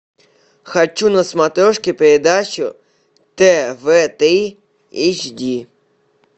хочу на смотрешке передачу тв три эйч ди